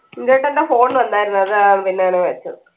നിങ്ങക്കെന്താ phone വന്നായിരുന്നോ അതാ പിന്നെയാണ് വെച്ചത്